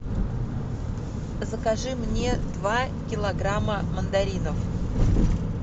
закажи мне два килограмма мандаринов